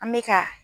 An bɛ ka